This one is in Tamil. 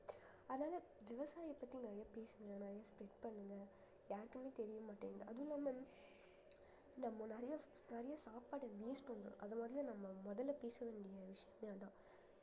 அதனால விவசாயியை பத்தி நிறைய பேசுங்க நிறைய spread பண்ணுங்க யாருக்குமே தெரியமாட்டேங்குது அதுவும் இல்லாம நம்ம நிறைய நிறைய சாப்பாடை waste பண்றோம் அது மாதிரிதான் நம்ம முதல்ல பேச வேண்டிய விஷயம் அதான்